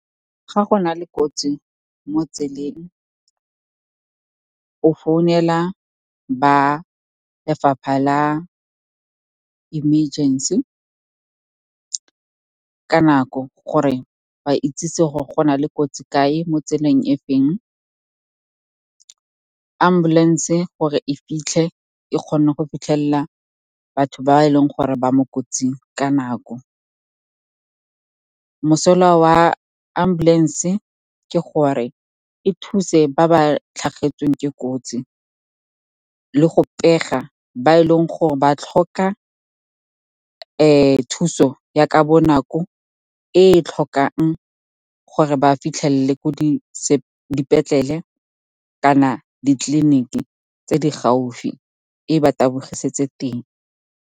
Ga go na le kotsi mo tseleng, o founela ba fapha la emergency ka nako gore ba itsesi gore go na le kotsi kae, mo tseleng e feng, ambulance gore e fitlhe e kgone go fitlhelela batho ba e leng gore ba mo kotsing ka nako. Mosola wa ambulance ke gore e thuse ba ba tlhagetsweng ke kotsi le go pega ba e leng gore ba tlhoka thuso ya ka bonako, e e tlhokang gore ba fitlhele ko dipetlele kana ditleliniki tse di gaufi, e ba tabogisetse teng.